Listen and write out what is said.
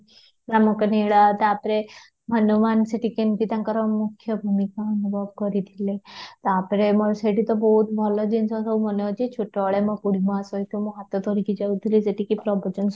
ରାମଙ୍କ ଲିଳା ତା'ପରେ ହନୁମାନ ସେଠି ତାଙ୍କର କେମିତି ମୁଖ୍ୟ ଭୂମିକୁ ଅନୁଭବ କରିଥିଲେ ତା'ପରେ ମୋର ସେଠି ତ ବହୁତ ଭଲ ଜିନିଷ ସବୁ ମାନେ ଅଛି ଛୋଟ ବେଳେ ମୋ ବୁଢ଼ୀ ମାଆ ସହିତ ମୁଁ ହାତରେ ଧରି କି ଯାଉଥିଲି ସେଠିକି ପ୍ରବଚନ